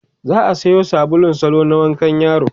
za'a Sayo sabulun salo na wankan yaro